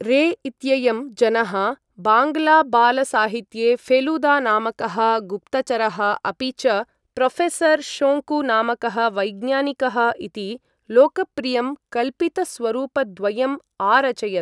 रे इत्ययं जनः बाङ्गलाबालसाहित्ये फेलूदा नामकः गुप्तचरः अपि च प्रोफेसर् शोङ्कु नामकः वैज्ञानिकः इति लोकप्रियं कल्पितस्वरूपद्वयम् आरचयत्।